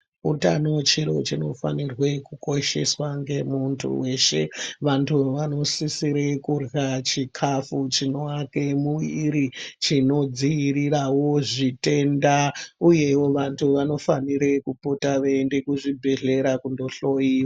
Utano chiro chinofanirwe kukosheswa ngemuntu weshe, vantu vanosisire kurya chikafu, chinoake muviri, chinodziyirirawo zvitenda uyewo vantu vanofanire kupota veyienda kuzvibhedhlera kundohloyiwa.